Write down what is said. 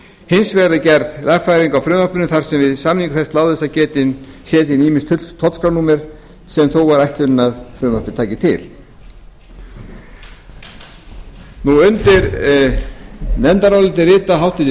hins vegar er gerð lagfæring á frumvarpinu þar sem við samningu þess láðist að setja inn ýmis tollskrárnúmer sem þó var ætlunin að frumvarpið tæki til undir nefndarálitið rita háttvirtir